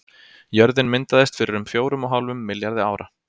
Jörðin myndaðist fyrir um fjórum og hálfum milljarði ára.